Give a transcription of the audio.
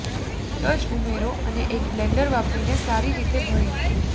તજ ઉમેરો અને એક બ્લેન્ડર વાપરીને સારી રીતે ભળી